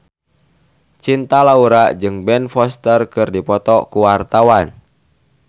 Cinta Laura jeung Ben Foster keur dipoto ku wartawan